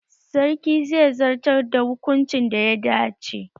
Sarki zai zartar da hukuncin da ya dace